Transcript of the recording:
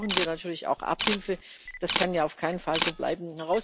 Hier brauchen wir natürlich auch Abhilfe, das kann ja auf keinen Fall so bleiben.